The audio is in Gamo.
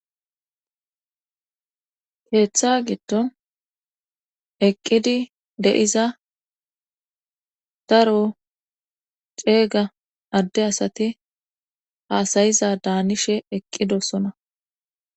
Keeththa giddon eqqidi de7iza daro ceega adde asati haasayiza daanishe eqqidossona.